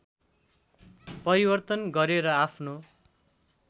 परिवर्तन गरेर आफ्नो